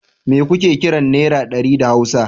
Mai kuke kiran Naira ɗari da Hausa?